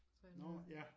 Tror jeg den hedder